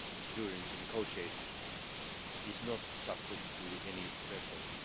during the negotiations, is not subject to any threshold.